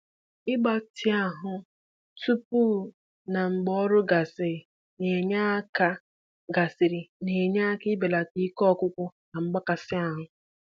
um Ịgbatị ahụ tupu na mgbe ọrụ gasịrị na-enye aka gasịrị na-enye aka belata ike ọgwụgwụ na mgbakasị ahụ.